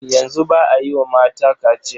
Yanzu ba a yi wa mata kaciya.